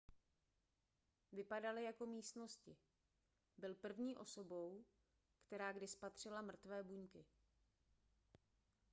vypadaly jako místnosti byl první osobou která kdy spatřila mrtvé buňky